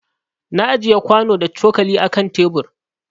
Na ajiƴe kwano da cokali a ƙan tebur.